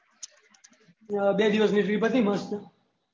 બે દિવસ ની પતિ ગયી મસ્ત